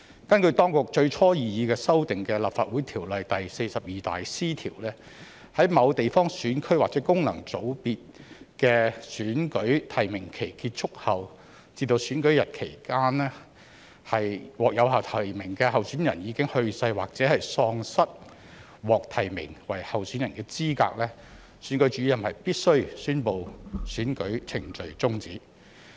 根據當局最初擬議新訂的《立法會條例》第 42C 條，在某地方選區或功能界別的選舉提名期結束後至選舉日期間，若獲有效提名的候選人已去世，或喪失獲提名為候選人的資格，選舉主任必須宣布選舉程序終止。